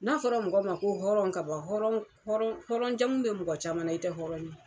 N'a fɔra mɔgɔ ma ko hɔrɔn ka ban, hɔrɔn jamu be mɔgɔ caman na, i te hɔrɔn ye.